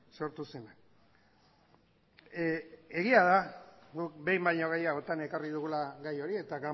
sortu zena egia da guk behin baino gehiagotan ekarri dugula gai hori eta